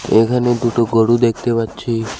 এখানে দুটো গোরু দেখতে পাচ্ছি।